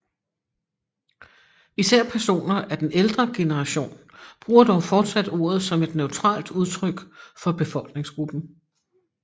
Især personer af den ældre generation bruger dog fortsat ordet som et neutralt udtryk for befolkningsgruppen